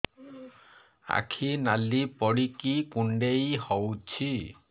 ଆଖି ନାଲି ପଡିକି କୁଣ୍ଡେଇ ହଉଛି